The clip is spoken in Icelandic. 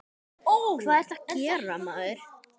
Hvað ertu að gera, maður?